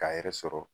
K'a yɛrɛ sɔrɔ